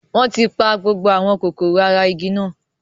Wọn tí pa gbogbo àwọn kòkòrò ara igi náà